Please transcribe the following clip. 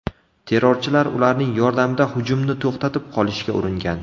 Terrorchilar ularning yordamida hujumni to‘xtatib qolishga uringan.